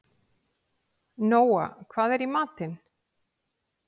Nóa, hvað er í matinn?